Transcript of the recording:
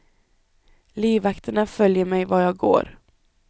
Livvakterna följer mig var jag går.